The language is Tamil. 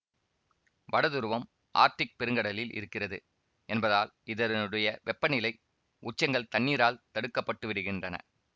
வட துருவம் ஆர்க்டிக் பெருங்கடலில் இருக்கிறது என்பதால் இதனுடைய வெப்பநிலை உச்சங்கள் தண்ணீரால் தடுக்கப்பட்டுவிடுகின்றன